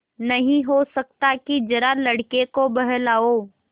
नहीं हो सकता कि जरा लड़के को बहलाओ